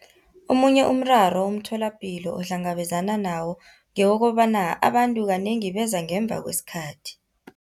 Omunye umraro umtholapilo ohlangabezana nawo ngewokobana abantu kanengi beza ngemva kwesikhathi.